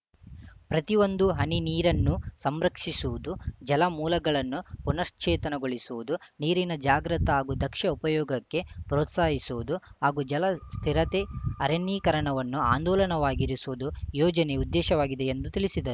ಪ್ರತಿಒಂದು ಹನಿ ನೀರನ್ನು ಸಂರಕ್ಷಿಸುವುದು ಜಲಮೂಲಗಳನ್ನು ಪುನಶ್ಚೇತನಗೊಳಿಸುವುದು ನೀರಿನ ಜಾಗೃತ ಹಾಗೂ ದಕ್ಷ ಉಪಯೋಗಕ್ಕೆ ಪ್ರೋತ್ಸಾಹಿಸುವುದು ಹಾಗೂ ಜಲ ಸುಸ್ಥಿರತೆ ಅರಣ್ಯೀಕರಣವನ್ನು ಆಂದೋಲನವಾಗಿರುವುದು ಯೋಜನೆ ಉದ್ದೇಶವಾಗಿದೆ ಎಂದು ತಿಳಿಸಿದರು